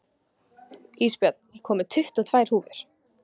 Ísbjörn, ég kom með tuttugu og tvær húfur!